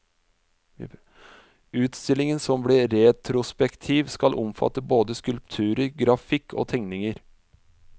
Utstillingen, som blir retrospektiv, skal omfatte både skulpturer, grafikk og tegninger.